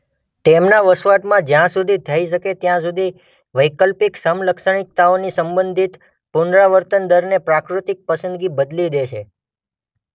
તેમના વસવાટમાં જ્યાં સુધી થઇ શકે ત્યાં સુધી વૈકલ્પિક સમલક્ષણીકતાઓની સંબંધિત પુનરાવર્તનદરને પ્રાકૃતિક પસંદગી બદલી દે છે.